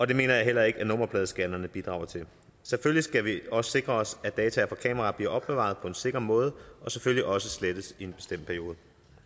det mener jeg heller ikke at nummerpladescannerne bidrager til selvfølgelig skal vi også sikre os at data fra kameraer bliver opbevaret på en sikker måde og selvfølgelig også slettes efter en bestemt periode